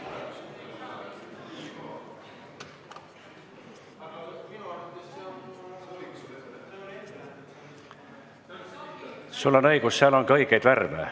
V a h e a e g